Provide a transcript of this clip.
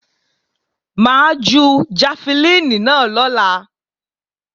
Mà á ju jafẹlíìnì náà lọ́la